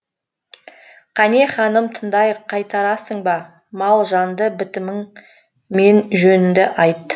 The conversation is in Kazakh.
қане ханым тыңдайық қайтарасың ба мал жанды бітімің мен жөніңді айт